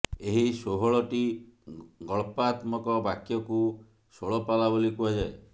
ଏହି ଷୋହଳଟି ଗଳ୍ପାତ୍ମକ ବାକ୍ୟକୁ ଷୋଳ ପାଲା ବୋଲି କୁହାଯାଏ